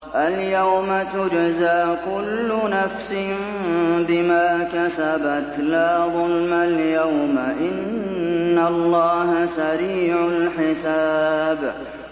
الْيَوْمَ تُجْزَىٰ كُلُّ نَفْسٍ بِمَا كَسَبَتْ ۚ لَا ظُلْمَ الْيَوْمَ ۚ إِنَّ اللَّهَ سَرِيعُ الْحِسَابِ